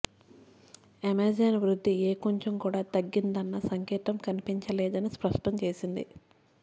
Amazon వృద్ధి ఏ కొంచెం కూడా తగ్గిందన్న సంకేతం కనిపించలేదని స్పష్టం చేసింది